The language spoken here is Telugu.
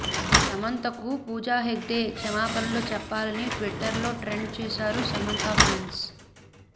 సమంతకు పూజా హెగ్డే క్షమాపణలు చెప్పాలని ట్వీటర్లో ట్రెండ్ చేశారు సమంత ఫ్యాన్స్